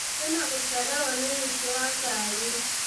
kwina gũcererwo ni ũingĩ wa ngari